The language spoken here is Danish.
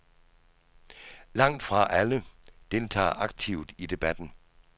Langt fra alle deltager aktivt i debatten.